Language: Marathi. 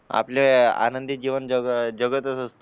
आपले आनंदी जीवन जग जगतच असतो